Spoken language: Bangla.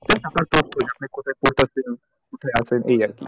আপনার post আপনি কোথায় post আছেন? কোথায় আছেন? এই আরকি